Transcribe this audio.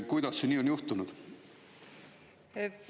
Kuidas see nii on juhtunud?